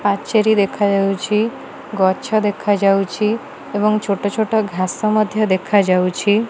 ପାଚେରୀ ଦେଖାଯାଉଛି ଗଛ ଦେଖାଯାଉଛି ଏବଂ ଛୋଟ ଛୋଟ ଘାସ ମଧ୍ୟ ଦେଖାଯାଉଛି।